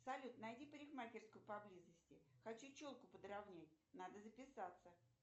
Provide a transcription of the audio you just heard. салют найди парикмахерскую поблизости хочу челку подравнять надо записаться